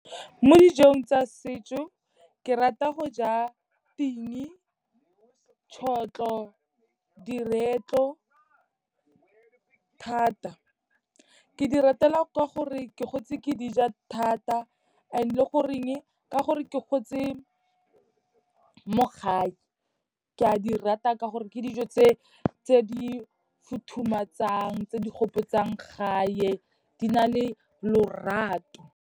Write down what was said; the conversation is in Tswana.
Mo dijong tsa setso ke rata go ja ting, tšhotlho, diretlo thata. Ke di ratela ka gore ke gotse ke di ja thata and le goreng ka gore ke gotse mo gae. Ke a di rata ka gore ke dijo tse di futhumatsang tse di gopotsang gae di na le lorato.